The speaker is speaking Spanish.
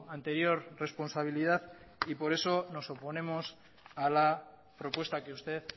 anterior responsabilidad y por eso nos oponemos a la propuesta que usted